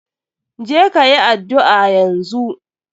Je ka yi addu'a yanzu.